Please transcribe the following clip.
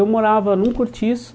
Eu morava num cortiço,